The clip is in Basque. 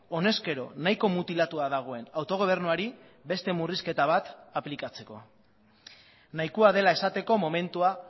honezkero nahiko mutilatua dagoen autogobernuari beste murrizketa bat aplikatzeko nahikoa dela esateko momentua